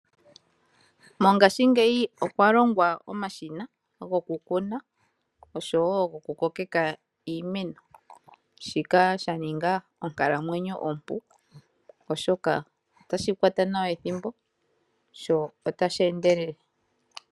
Mongashingeyi okwa longwa omashina gokukuna oshowo gokukokeka iimeno, shika sha ninga onkalamwenyo ompu, oshoka otashi kwata nawa ethimbo, sho otashi endelele.